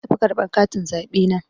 Na tafi karɓar katin zaɓe na.